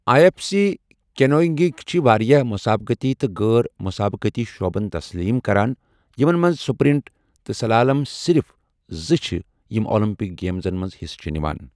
I F C کینوئنگٕک چھِ واریٛاہ مسابقتی تہٕ غٲر مسابقتی شعبَن تسلیم کران، یِمن منٛز سپرنٹ تہٕ سلالم صرف زٕ چھِ یِمۍ اولمپک گیمزَن منٛز حصہٕ چھِ نِوان۔